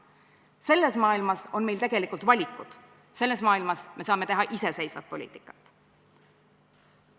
Selles maailmas on meil tegelikult valikud, selles maailmas me saame teha iseseisvat poliitikat.